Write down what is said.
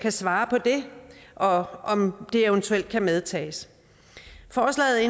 svare på det og om det eventuelt kan vedtages forslaget